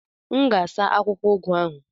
M ga-asa akwụkwọ ugu ahụ.